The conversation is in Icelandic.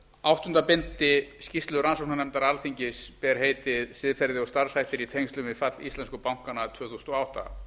áttunda bindi skýrslu rannsóknarnefndar alþingis ber heitið siðferði og starfshættir í tengslum við fall íslensku bankanna tvö þúsund og átta